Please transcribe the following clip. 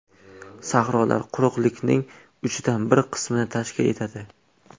Sahrolar quruqlikning uchdan bir qismini tashkil etadi.